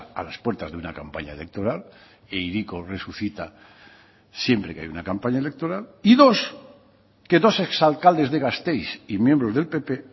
a las puertas de una campaña electoral e hiriko resucita siempre que hay una campaña electoral y dos que dos exalcaldes de gasteiz y miembros del pp